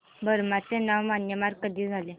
Burma चे नाव Myanmar कधी झाले